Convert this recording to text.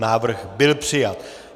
Návrh byl přijat.